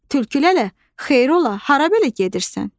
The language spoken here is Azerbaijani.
Tülkülə, xeyir ola, hara belə gedirsən?